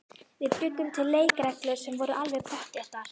Við bjuggum til leikreglur sem voru alveg pottþéttar.